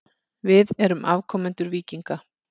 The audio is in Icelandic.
Við erum afkomendur víkinga.